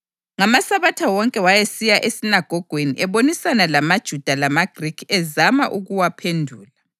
NgamaSabatha wonke wayesiya esinagogweni ebonisana lamaJuda lamaGrikhi ezama ukuwaphendula.